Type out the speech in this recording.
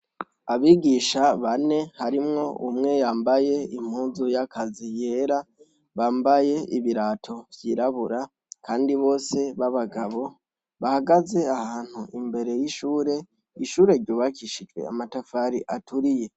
Abigisha bane harimwo umwe yambaye impuzu y'akazi yera bambaye ibirato vyirabura kandi bose babagabo bahagaze ahantu imbere y'ishuri. Ishuri ryubakishije amatafari aturiye.